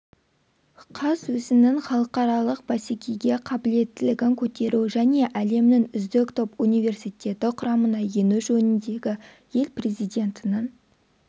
қаз өзінің халықаралық бәсекеге қабілеттілігін көтеру және әлемнің үздік топ университеті құрамына ену жөніндегі ел президентінің